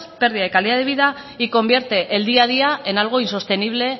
pérdida de calidad de vida y convierte el día a día en algo insostenible